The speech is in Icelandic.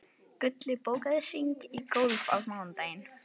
Gulli, bókaðu hring í golf á mánudaginn.